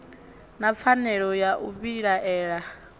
na pfanelo ya u vhilaela